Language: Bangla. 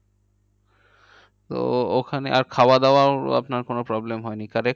তো ওখানে আর খাওয়া দাওয়া আপনার কোনো problem হয়নি correct